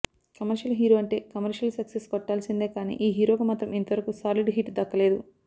commercial hero అంటే commercial success కొట్టాల్సిందే కానీ ఈ హీరోకు మాత్రం ఇంతవరకు సాలిడ్ హిట్ దక్కలేదు